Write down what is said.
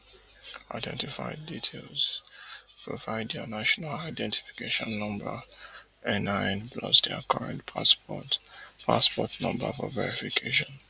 identify details provide dia national identification number NIN plus dia current passport passport number for verification